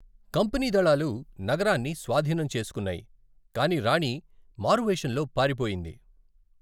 Company దళాలు నగరాన్ని స్వాధీనం చేసుకున్నాయి, కాని రాణి మారువేషంలో పారిపోయింది.